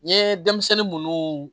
N ye denmisɛnnin munnu